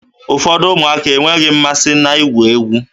Ụfọdụ ụmụaka enweghi mmasị na-igwu egwu.